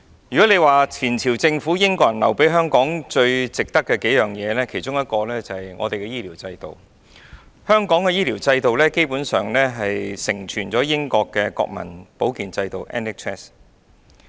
如果說前朝政府英國人留給香港最有價值的幾樣東西，其中一樣便是我們的醫療制度。基本上，香港的醫療制度承傳自英國的國民保健制度。